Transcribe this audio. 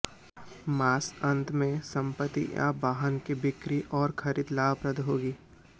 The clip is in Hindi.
मास अंत में संपत्ति या वाहन की बिक्री और खरीद लाभप्रद होगी